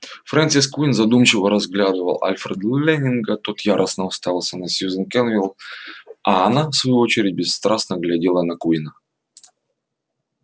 фрэнсис куинн задумчиво разглядывал альфреда лэннинга тот яростно уставился на сьюзен кэлвин а она в свою очередь бесстрастно глядела на куинна